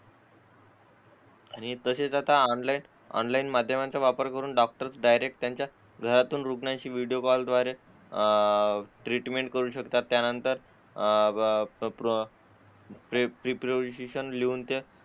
हे तसेच आता ऑनलाइन ऑनलाइन माध्यमांचा वापर करून डायरेक्ट त्यांच्या घरातून रुग्णांशी व्हिडिओ कॉल द्वारे अह ट्रीटमेंट करू शकतात त्यानंतर अह प्रेपोझिशन लिहून त्या